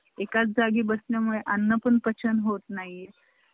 payment झालं की तुम्ही तुमचं काय असन ते काम चालू करा.